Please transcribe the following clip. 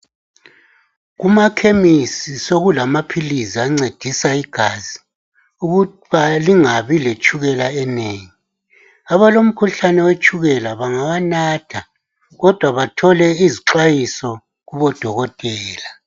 Kumakhemisi sokulamaphiliz' ancedisa igazi ukuba lingabi letshukela enengi. Abalomkhuhlane wetshukela bangawanatha, kodwa bathole izixwayiso kubodokotela.